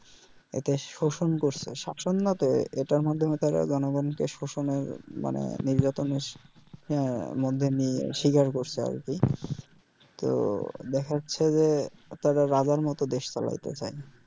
এটা শোষণ করছে শাসন না তো এটার মাধ্যমে তারা জনগণকে শোষণ এর মানে নির্যাতন এর মধ্যে নিয়ে শিকার করসে আর কি তো দ্যাখাচ্ছে যে তারা রাজার মতো দেশ চালাইতে চাই